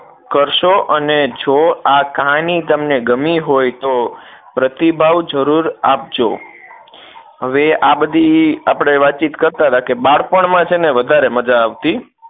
કરશો અને જો આ કહાની તમને ગમી હોય તો પ્રતિભાવ જરૂર આપજો હવે આ બધી આપણે વાતચિત કરતા હતા કે બાળપણ માં છે ને વધારે મજા આવતી